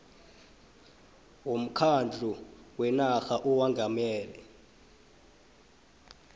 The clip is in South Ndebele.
womkhandlu wenarha owengamele